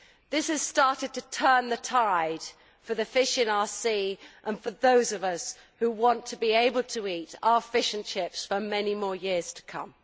This has started to turn the tide for the fish in our sea and for those of us who want to be able to eat our fish and chips for many more years to come.